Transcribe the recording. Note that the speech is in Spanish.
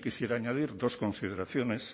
quisiera añadir dos consideraciones